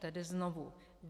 Tedy znovu.